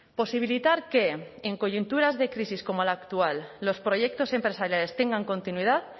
posibilitar que en coyunturas de crisis como la actual los proyectos empresariales tengan continuidad